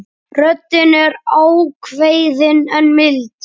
Röddin er ákveðin en mild.